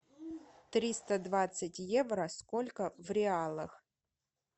триста двадцать евро сколько в реалах